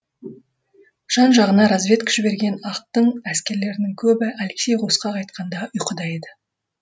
жан жағына разведка жіберген ақтың әскерлерінің көбі алексей қосқа қайтқанда ұйқыда еді